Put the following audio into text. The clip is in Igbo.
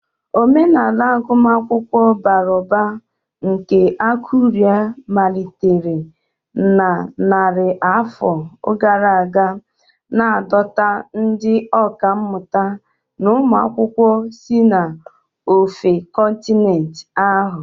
Omenala agụmakwụkwọ bara ụba nke Akure malitere na narị afọ gara aga, na-adọta ndị ọkà mmụta na ụmụ akwụkwọ si n'ofe kọntinent ahụ.